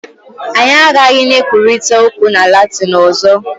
Anyị agaghị na-ekwurịta okwu na Latin ọzọ